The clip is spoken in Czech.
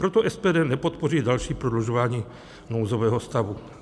Proto SPD nepodpoří další prodlužování nouzového stavu.